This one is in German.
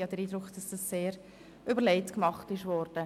Ich habe den Eindruck, dies sehr überlegt gemacht worden.